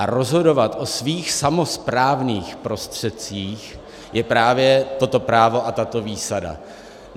A rozhodovat o svých samosprávných prostředcích je právě toto právo a tato výsada.